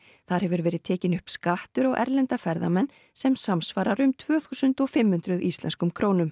þar hefur verið tekinn upp skattur á erlenda ferðamenn sem samsvarar um tvö þúsund og fimm hundruð íslenskum krónum